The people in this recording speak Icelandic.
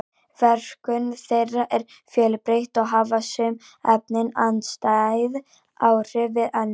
verkun þeirra er fjölbreytt og hafa sum efnin andstæð áhrif við önnur